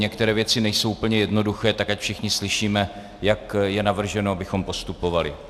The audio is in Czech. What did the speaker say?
Některé věci nejsou úplně jednoduché, tak ať všichni slyšíme, jak je navrženo, abychom postupovali.